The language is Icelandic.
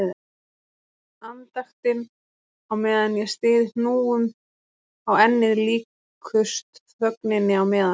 Andaktin á meðan ég styð hnúum á ennið líkust þögninni á meðan